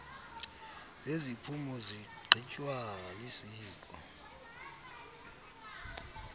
zeziphumo zigqitywa lisiko